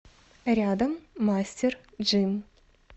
рядом мастер джим